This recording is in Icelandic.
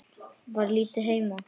Var lítið heima.